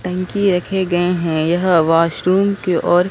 टंकी रखे गए हैं यह वॉशरूम की ओर--